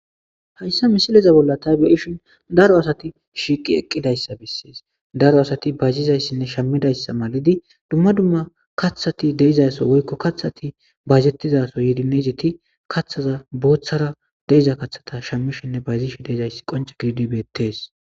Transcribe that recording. Hayssa misileza bolla tha be7ishin daro asathi shiiqi eqqidayssa bessees; daro asathi bayzzizayssanne shammidayssa gidi dumma dumma kaththathi de7izaysso woykko kaththathi bayzeththizaaso yiidi meezethi kaththathaza booththara de7iza kaththatha shammishenne bayzishe de7izayssi qoncce keyidi beeththees.